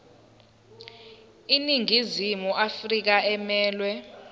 iningizimu afrika emelwe